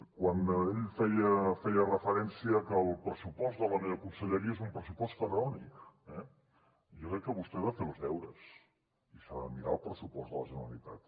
quan ell feia referència a que el pressupost de la meva conselleria és un pressupost faraònic eh jo crec que vostè ha de fer els deures i s’ha de mirar el pressupost de la generalitat